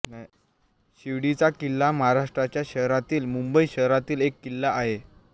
शिवडीचा किल्ला महाराष्ट्राच्या शहरातील मुंबई शहरातील एक किल्ला आहे